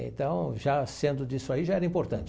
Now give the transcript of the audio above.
Então, já sendo disso aí, já era importante.